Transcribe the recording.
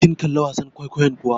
Kin kalli wasan kwaikwayon kuwa?